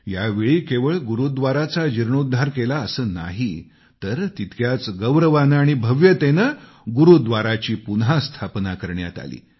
यावेळी केवळ गुरूव्दाराचा जीर्णोद्धार केला असं नाही तर तितक्याच गौरवानं आणि भव्यतेनं गुरूद्धाराची पुन्हा स्थापना करण्यात आली